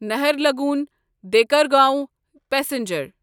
نہرلگون دیکرگاوں پسنجر